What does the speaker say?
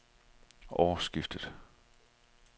årsskiftet